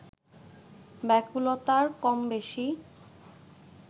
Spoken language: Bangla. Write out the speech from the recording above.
ব্যাকুলতা কম-বেশি